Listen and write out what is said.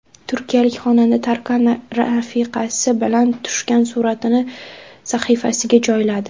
Turkiyalik xonanda Tarkan rafiqasi bilan tushgan suratini sahifasiga joyladi.